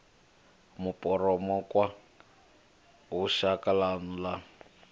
mupomokwa hu shaka ḽanu ḽa